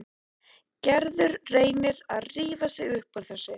Gerður reynir að rífa sig upp úr þessu.